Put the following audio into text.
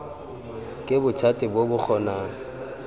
ke bothati bo bo kgonang